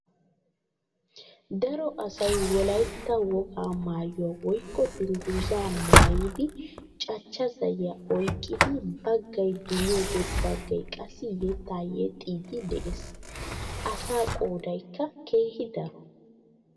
Daro asay wollaytta wogaa mayuwaa woykko dungguzaa maayidi caachchaa zayiyaa oyqqidi baggay duriyoode baggay qassi yeettaa yeexxiidi de'ees. Asaa qoodaykka keehi daro.